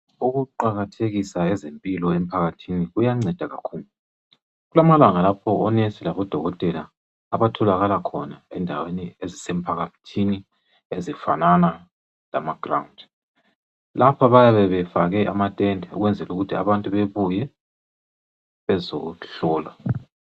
Ukuqakathekisa ezempilo emphakathini, kuyanceda kakhulu. Kulamalanga lapho onesi labodokotela abatholakala khona endaweni ezisemphakathini, ezifanana lamaground. Lapha bayabe befake amatende, ukwenzela ukuthi abantu bebuye bezehlolwa.